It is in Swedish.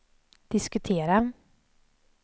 diskutera